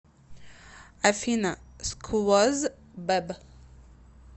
афина сквоз бэб